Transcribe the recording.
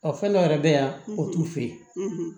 Ɔ fɛn dɔ yɛrɛ bɛ yan o t'u fɛ yen